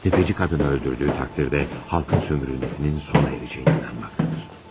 Təfəci qadını öldürdüyü təqdirdə, xalqın sömürülməsinin sona erəcəyinə inanmaqdadır.